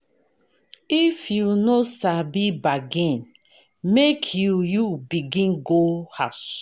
If you no sabi bargain, make you you begin go house.